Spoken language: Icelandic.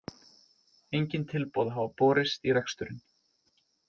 Engin tilboð hafa borist í reksturinn